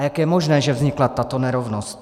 A jak je možné, že vznikla tato nerovnost?